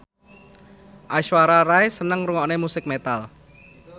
Aishwarya Rai seneng ngrungokne musik metal